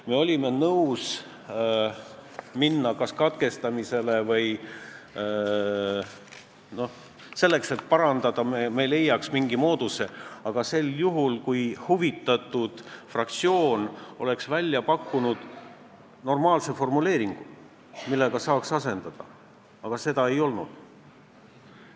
Me olime nõus lugemist kas katkestama või seda väljendit parandama, kui me oleksime leidnud selleks mingi mooduse, kui huvitatud fraktsioon oleks pakkunud normaalse formuleeringu, millega oleks saanud olemasolevat asendada, aga seda ei olnud.